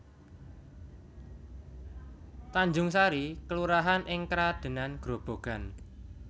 Tanjungsari kelurahan ing Kradenan Grobogan